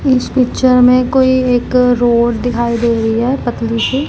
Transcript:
इस पिक्चर में कोई एक रोड दिखाई दे रही है पतली सी--